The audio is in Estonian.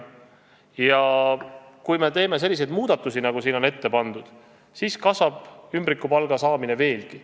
Ja kui me teeme selliseid muudatusi, nagu siin on ette pandud, siis kasvab ümbrikupalga saamine veelgi.